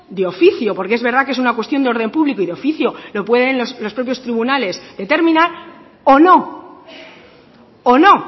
de oficio porque es verdad que es una cuestión de orden público y de oficio lo pueden los propios tribunales determinar o no o no